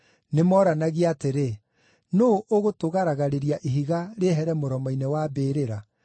nĩmoranagia atĩrĩ, “Nũũ ũgũtũgaragarĩria ihiga rĩehere mũromo-inĩ wa mbĩrĩra?”